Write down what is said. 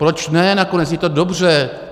Proč ne, nakonec je to dobře.